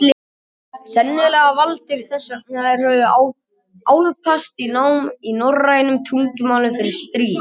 Sennilega valdir vegna þess að þeir höfðu álpast í nám í norrænum tungumálum fyrir stríð.